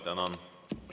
Tänan!